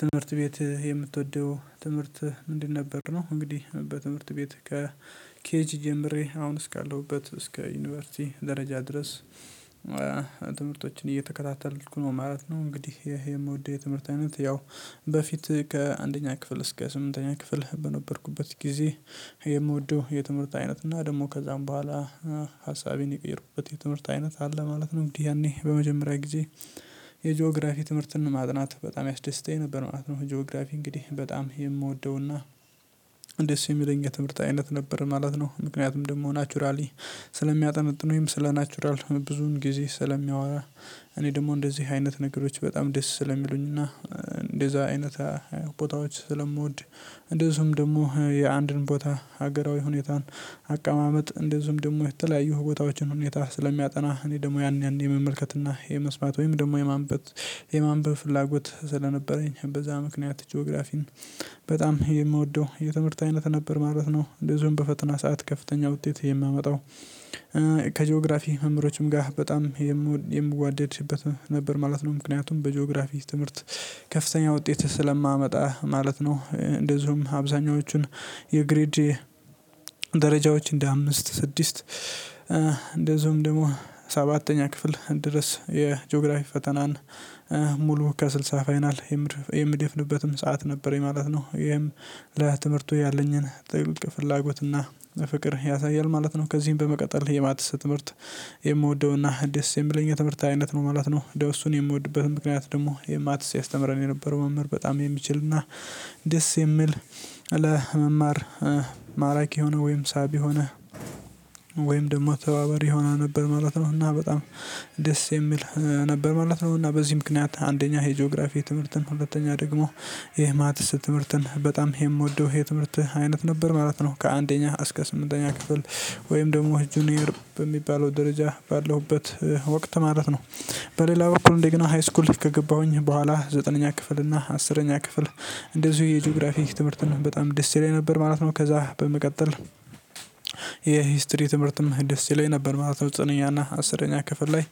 ትምህርት ቤት የምትወደው ትምህርት ምንድን ነበር ነው? እንግዲህ በትምህርት ቤት ከኬጅ ጀምሬ አሁን እስካለሁበት እስከ ዩኒቨርሲቲ ደረጃ ድረስ። ትምህርቶችን እየተከታተልኩ ነው ማለት ነው። እንግዲህ ይሄ የምወደው የትምህርት አይነት ያው በፊት ከአንደኛ ክፍል እስከ ስምንተኛ ክፍል በነበርኩበት ጊዜ የምወደው የትምህርት አይነት እና ደግሞ ከዛም በኋላ ሀሳቤን የቀየርኩበት የትምህርት አይነት አለ ማለት ነው። እንግዲህ ያኔ በመጀመሪያ ጊዜ የጂኦግራፊ ትምህርትን ማጥናት በጣም ያስደስተኝ ነበር ነው። ጂኦግራፊ እንግዲህ በጣም የምወደውና እንደዚህ የሚለኝ የትምህርት አይነት ነበር ማለት ነው። ምክንያቱም ደግሞ ናቹራሊ ስለሚያጠነጥን ስለ ናቹራል ብዙን ጊዜ ስለሚያወራ እኔ ደግሞ እንደዚህ አይነት ነገሮች በጣም ደስ ስለሚሉኝና እንደዛ አይነት ቦታዎች ስለምወድ። እንደዚሁም ደግሞ የአንድን ቦታ ሀገራዊ ሁኔታን አቀማመጥ እንደዚሁም ደግሞ የተለያዩ ቦታዎችን ሁኔታ ስለሚያጠና እኔ ደግሞ ያኔ ያኔ የመመልከትና የመስማት ወይም ደግሞ የማንበብ የማንበብ በፍላጎት ስለነበረኝ በዛ ምክንያት ጂኦግራፊን በጣም የምወደው የትምህርት አይነት ነበር ማለት ነው። እንደዚሁም በፈተና ሰዓት ከፍተኛ ውጤት የማመጣው ከጂኦግራፊ መምህሮችም ጋር በጣም የምዋደድበት ነበር ማለት ነው። ምክንያቱም በጂኦግራፊስት ትምህርት ከፍተኛ ውጤት ስለማመጣ ማለት ነው። እንደዚሁም አብዛኞቹን የግሬድ ደረጃዎች እንደ አምስት ስድስት እንደዚሁም ደግሞ ሰባተኛ ክፍል ድረስ የጂኦግራፊክ ፈተናን ሙሉ ከስልሳ ፋይናል የሚደፍንበትም ሰዓት ነበር ማለት ነው። ይሄም ለትምህርቱ ያለኝን ጥልቅ ፍላጎት እና ፍቅር ያሳያል ማለት ነው። ከዚህም በመቀጠል የማትስ ትምህርት የምወደውና ደስ የምለኝ የትምህርት አይነት ነው ማለት ነው። እንደው እሱን የምወድበትን ምክንያት ደግሞ የማትስ ያስተምረን የነበረው መምህር በጣም የሚችል እና ደስ የሚል ለመማር ማራኪ የሆነ ወይም ሳቢ የሆነ ወይም ደግሞ ተባባሪ የሆና ነበር ማለት ነው። እና በጣም ደስ የሚል ነበር ማለት ነው። እና በዚህ ምክንያት አንደኛ የጂኦግራፊ የትምህርትን ሁለተኛ ደግሞ የማትስ ትምህርትን በጣም የምወደው የትምህርት አይነት ነበር ማለት ነው። ከአንደኛ እስከ ስምንተኛ ክፍል ወይም ደግሞ ጁኒየር በሚባለው ደረጃ ባለሁበት ወቅት ማለት ነው። በሌላ በኩል እንደገና ሃይስኩል ከገባሁኝ በኋላ ዘጠነኛ ክፍል እና አስረኛ ክፍል እንደዚሁ የጂኦግራፊክ ትምህርትን በጣም ደስ የለኝ ነበር ማለት ነው። ከዛ በመቀጠል የሂስትሪ ትምህርትም ደስ ይለኝ ነበር ማለት ነው። ዘጠነኛና አስረኛ ክፍል ላይ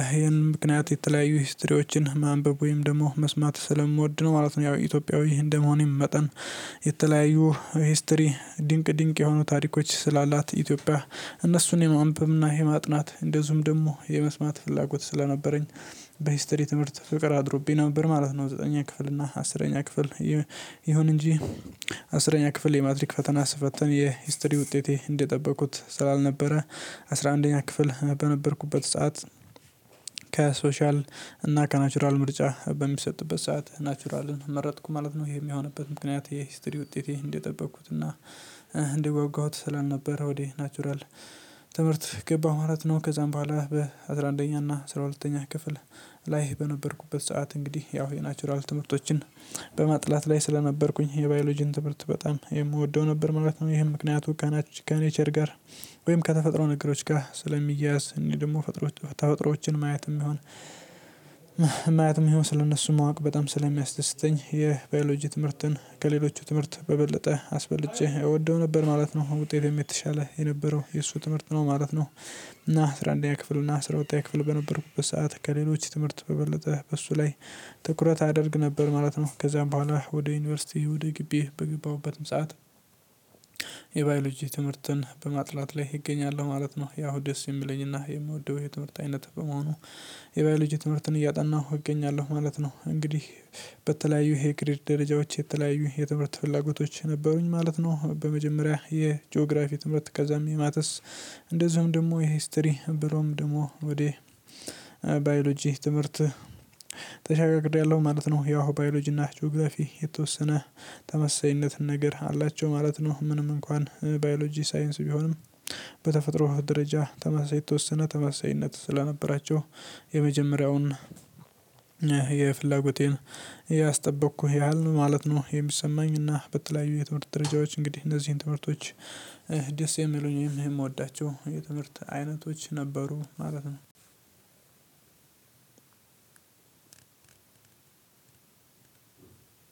ይሄን ምክንያት የተለያዩ ሂስትሪዎችን ማንበብ ወይም ደግሞ መስማት ስለምወድ ነው ማለት ነው። ያው ኢትዮጵያዊ እንደመሆኔም መጠን የተለያዩ ሂስትሪ ድንቅ ድንቅ የሆኑ ታሪኮች ስላላት ኢትዮጵያ እነሱን የማንበብና የማጥናት እንደዚሁም ደግሞ የመስማት ፍላጎት ስለነበረኝ በሂስትሪ ትምህርት ፍቅር አድሮብኝ ነበር ማለት ነው። ዘጠነኛ ክፍል እና አስረኛ ክፍል ይሁን እንጂ አስረኛ ክፍል የማትሪክ ፈተና ስፈተን የሂስትሪ ውጤቴ እንዴት ጠበቁት ስላልነበረ አስራ አንደኛ ክፍል በነበርኩበት ሰዓት ከሶሻል እና ከናቹራል ምርጫ በሚሰጥበት ሰዓት ናቹራልን መረጥኩ ማለት ነው። ይሄ የሚሆንበት ምክንያት የሂስትሪ ውጤቴ እንዲጠብኩትና እንዲጓጓሁት ስላልነበረ ወደ ናቹራል ትምህርት ገባ ማራት ነው ከዛም በኋላ በአሥራ አንደኛው እና ስራ ሁለተኛ ክፍል ላይ በነበርኩበት ሰዓት እንግዲህ ያው የናቹራል ትምህርቶችን በማጥናት ላይ ስለነበርኩኝ የባዮሎጂን ትምህርት በጣም ነበር ማለት ነው። ይሄን ምክንያቱ ካናቸው ከኔቸር ጋር ወይም ከተፈጥሮ ነገሮች ጋር ስለሚያያዝ እኔ ደግሞ ተፈጥሮ ተፈጥሮዎችን ማየትም ይሁን ማየትም ይሁን ስለእነሱ ማወቅ በጣም ስለሚያስደስተኝ የባዮሎጂ ትምህርትን ከሌሎች ትምህርት በበለጠ አስበልጬ እወደው ነበር ማለት ነው። ውጤቴም የተሻለ የነበረው የእሱ ትምህርት ነው ማለት ነው። እና አስራ አንደኛ ክፍል እና አስራ ወጣው ክፍል በነበርኩበት ሰዓት ከሌሎች ትምህርት በበለጠ በሱ ላይ ትኩረት አደርግ ነበር ማለት ነው። ከዚያም በኋላ ወደ ዩኒቨርሲቲ ወደ ግቢ በገባሁበትም ሰዓት የባዮሎጂ ትምህርትን በማጥናት ላይ እገኛለሁ ማለት ነው። ያው ደስ የሚለኝና የምወደው የትምህርት አይነት በመሆኑ የባዮሎጂ ትምህርትን እያጠናሁ እገኛለሁ ማለት ነው። እንግዲህ በተለያዩ የግሬድ ደረጃዎች የተለያዩ የትምህርት ፍላጎቶች ነበሩኝ ማለት ነው። በመጀመሪያ የጂኦግራፊ ትምህርት ከዛም የማተስ እንደዚሁም ደግሞ የሂስትሪ ብሎም ደግሞ ወዴ ባዮሎጂ ትምህርት ተሸጋግሬያለሁ ማለት ነው። ያው ባዮሎጂ እና ጆግራፊ የተወሰነ ተመሳሳይነትን ነገር አላቸው ማለት ነው። ምንም እንኳን ባዮሎጂ ሳይንስ ቢሆንም በተፈጥሮ ደረጃ ተመሳሳይ የተወሰነ ተመሳሳይነት ስለነበራቸው የመጀመሪያውን የፍላጎቴን ያስጠበቅኩህ ያህል ማለት ነው። የሚሰማኝና በተለያዩ የትምህርት ደረጃዎች እንግዲህ እነዚህን ትምህርቶች ደስ የሚሉኝም የምወዳቸውም የትምህርት አይነቶች ነበሩ ማለት ነው።